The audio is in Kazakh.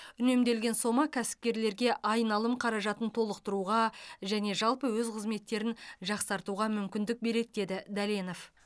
үнемделген сома кәсіпкерлерге айналым қаражатын толықтыруға және жалпы өз қызметтерін жақсартуға мүмкіндік береді деді дәленов